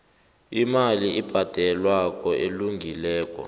imali ebhadelwako elungileko